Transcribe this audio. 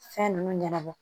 Fɛn ninnu ɲɛnabɔ